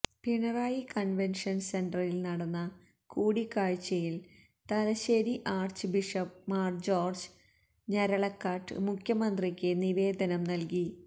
Pinarayi convention സെന്ററിൽ നടന്ന കൂടിക്കാഴ്ചയിൽ Thalassery archbishop Mar George Njaralakatt മുഖ്യമന്ത്രിക്ക് നിവേദനം നൽകി